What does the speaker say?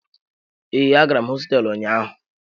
Ee, agara m hosteelu ụnyaahụ.